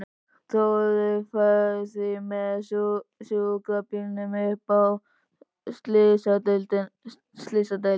Þórður fer því með sjúkrabílnum upp á slysadeild.